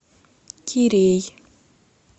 кирей